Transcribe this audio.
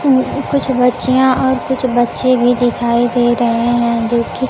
कुछ बच्चिया और कुछ बच्चे भी दिखाई दे रहे हैं जोकि--